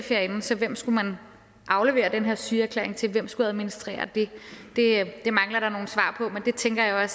herinde så hvem skulle man aflevere den her sygeerklæring til hvem skulle administrere det det mangler der nogle svar på men det tænker jeg